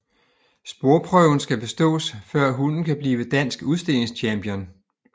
Sporprøven skal bestås før hunden kan blive Dansk Udstillingschampion